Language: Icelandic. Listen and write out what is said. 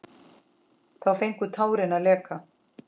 Þá fengu tárin að leka.